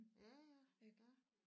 Ja ja ja